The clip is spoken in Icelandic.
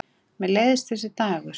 Mér leiðist þessi dagur.